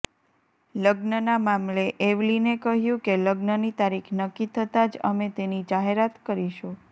લગ્નના મામલે એવલીને કહ્યું કે લગ્નની તારીખ નક્કી થતાં જ અમે તેની જાહેરાત કરીશું